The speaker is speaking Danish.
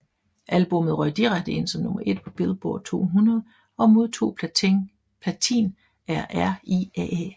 Albummet røg direkte ind som nummer 1 på Billboard 200 og modtog platin af RIAA